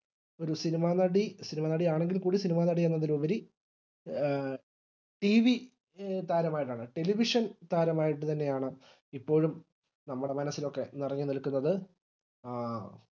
ഒരു സിനിമ നടി സിനിമ നടി ആണെങ്കിൽ കൂടി സിനിമ നടി എന്നതിലുപരി TV താരമാകാനാണ് television താരമായിട്ട് തന്നെയാണ് ഇപ്പോഴും നമ്മുടെ മനസ്സിലൊക്കെ നിറഞ്ഞു നിൽക്കുന്നത് ആ